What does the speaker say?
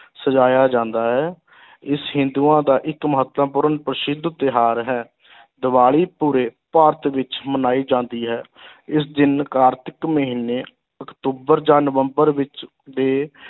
ਸਜਾਇਆ ਜਾਂਦਾ ਹੈ ਇਸ ਹਿੰਦੂਆਂ ਦਾ ਇੱਕ ਮਹੱਤਵਪੂਰਨ ਪ੍ਰਸਿੱਧ ਤਿਉਹਾਰ ਹੈ ਦੀਵਾਲੀ ਪੂਰੇ ਭਾਰਤ ਵਿੱਚ ਮਨਾਈ ਜਾਂਦੀ ਹੈ ਇਸ ਦਿਨ ਕਾਰਤਿਕ ਮਹੀਨੇ ਅਕਤੂਬਰ ਜਾਂ ਨਵੰਬਰ ਵਿੱਚ ਦੇ